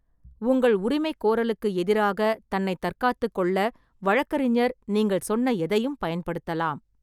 உங்கள் உரிமைகோரலுக்கு எதிராக தன்னை தற்காத்துக் கொள்ள வழக்கறிஞர் நீங்கள் சொன்ன எதையும் பயன்படுத்தலாம்.